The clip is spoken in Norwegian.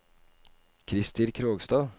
Krister Krogstad